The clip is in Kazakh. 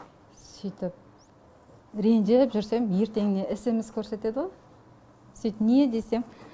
сөйтіп ренжіп жүрсем ертеңіне смс көрсетеді ғой сөйтіп не десем